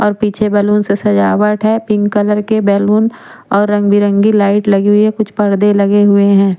और पीछे बल्लून से सजावट है पिंक कलर के बैलून और रंग बिरंगी लाइट लगी हुई है और कुछ पर्दे लगे हुए है।